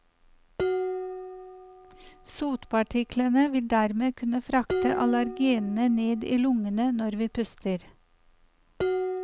Sotpartiklene vil dermed kunne frakte allergenene ned i lungene når vi puster.